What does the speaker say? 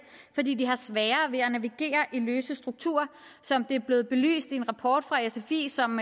fordi de har sværere ved at navigere i løse strukturer som det er blevet belyst i en rapport fra sfi som